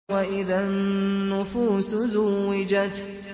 وَإِذَا النُّفُوسُ زُوِّجَتْ